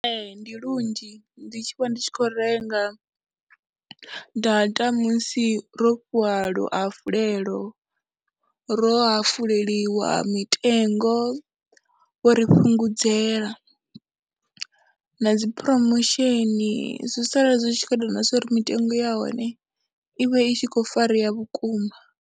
Ee, ndi lunzhi ndi tshi vha ndi tshi khou renga data musi ro fhiwa luhafhulelo, ro hafuleliwa mitengo, vho ri fhungudzela na dzi promotion, zwi sala zwi tshi khou ita na zwa uri mitengo ya hone i vhe i tshi khou farea vhukuma.